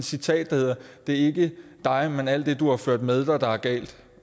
citat der hedder det ikke dig men alt det du har ført med dig der er galt